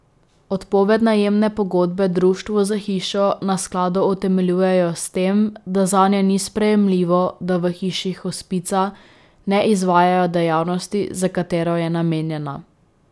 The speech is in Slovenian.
Odpoved najemne pogodbe društvu za hišo na skladu utemeljujejo s tem, da zanje ni sprejemljivo, da v hiši hospica ne izvajajo dejavnosti, za katero je namenjena.